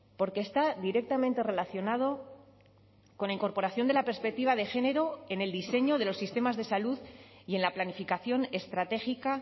porque está directamente relacionado con la incorporación de la perspectiva de género en el diseño de los sistemas de salud y en la planificación estratégica